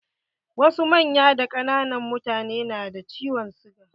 Wasu manyan da ƙananan mutane na da ciwon siga.